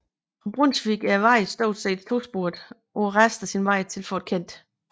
Fra Brunswick er vejen stort set tosporet på resten af sin vej til Fort Kent